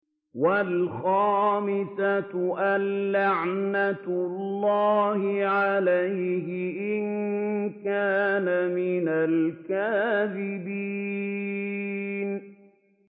وَالْخَامِسَةُ أَنَّ لَعْنَتَ اللَّهِ عَلَيْهِ إِن كَانَ مِنَ الْكَاذِبِينَ